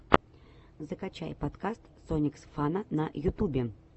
закачай подкаст сониксфана на ютубе